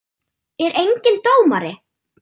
Er enginn dómari?